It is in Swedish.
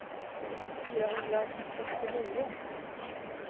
fyrahundrasextionio